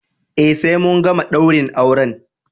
Eh sai mun gama daurin auren.